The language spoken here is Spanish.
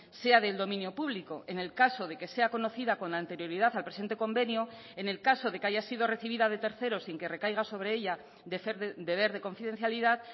sea del dominio público en el caso de que sea conocida con anterioridad al presente convenio en el caso de que haya sido recibida de terceros sin que recaiga sobre ella deber de confidencialidad